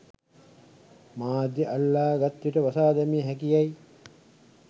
මාධ්‍ය අල්ලා ගත් විට වසා දැමිය හැකි යැයි